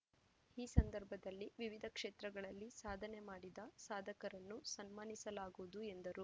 ಈ ಸಂದರ್ಭದಲ್ಲಿ ವಿವಿಧ ಕ್ಷೇತ್ರಗಳಲ್ಲಿ ಸಾಧನೆ ಮಾಡಿದ ಸಾಧಕರನ್ನು ಸನ್ಮಾನಸಲಾಗುವುದು ಎಂದರು